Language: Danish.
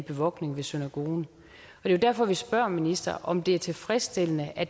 bevogtning ved synagogen det er jo derfor vi spørger ministeren om det er tilfredsstillende at